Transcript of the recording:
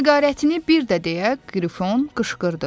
Nəqarətini bir də deyə Qrifon qışqırdı.